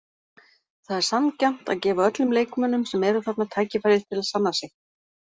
Það er sanngjarnt að gefa öllum leikmönnum sem eru þarna tækifæri til að sanna sig.